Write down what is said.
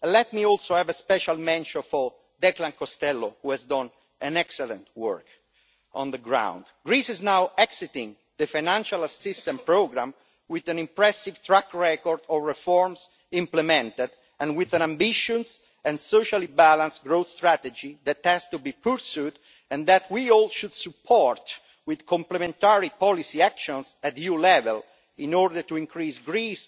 Let me also give a special mention to Declan Costello, who has done excellent work on the ground. Greece is now exiting the financial assistance programme with an impressive track record of reforms implemented and with an ambitious and socially balanced growth strategy that has to be pursued, and which we should all support with complementary policy actions at EU level in order to further Greek